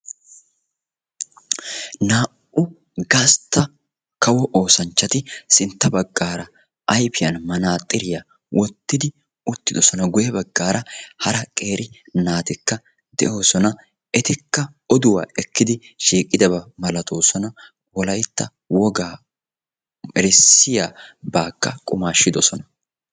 Naa''u gastta kawo oosanchchati sintta baggaara ayfiyan manaaxxiriya wottidi uttidosona. Guyye baggaara hara qeeri naatikka de'oosona. Etikka oduwa ekkidi shiiqidaba malatoosona. Wolaytta wogaa bessiyabaakka qumaashshidosona.